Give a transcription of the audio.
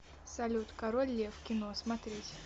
салют король лев кино смотреть